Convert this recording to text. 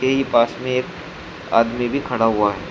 पास में एक आदमी भी खड़ा हुआ है।